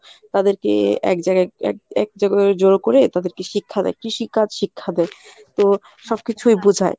তাদেরকে এক জাগায় এক জড়ো করে তাদেরকে শিক্ষা দেয় কৃষিকাজ শিক্ষা দেয়। তো সবকিছুই বুঝায়।